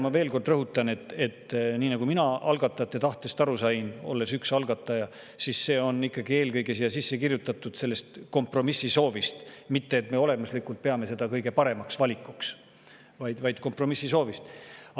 Ma veel kord rõhutan – mina sain algatajate tahtest aru nii, olles üks algataja –, et see on eelkõige siia sisse kirjutatud ikkagi kompromissi soovi tõttu, mitte et me olemuslikult peaksime seda kõige paremaks valikuks, vaid kompromissi soovi tõttu.